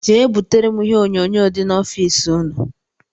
Jee butere m ihe onyonyo dị n' ọffici ụnụ!!